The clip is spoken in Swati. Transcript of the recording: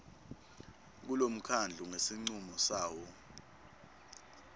kulomkhandlu ngesincumo sawo